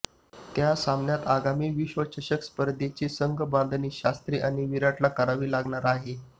त्या सामन्यांत आगामी विश्वचषक स्पर्धेची संघबांधणी शास्त्री आणि विराटला करावी लागणार आहे